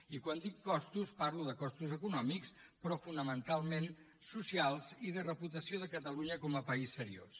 i quan dic costos parlo de costos econòmics però fonamentalment socials i de reputació de catalunya com a país seriós